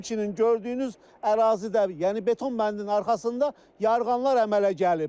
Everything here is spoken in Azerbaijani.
Həmçinin gördüyünüz ərazidə, yəni beton bəndin arxasında yarğanlar əmələ gəlib.